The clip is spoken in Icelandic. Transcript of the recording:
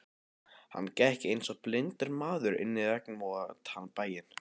Hann gekk einsog blindur maður inn í regnvotan bæinn.